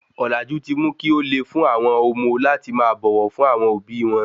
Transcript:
Olaju ti mu ki óle fun awọn omo láti máa bọwọ fún àwọn òbí wọn